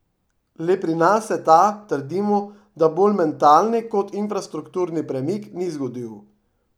Le pri nas se ta, trdimo, da bolj mentalni kot infrastrukturni premik, ni zgodil.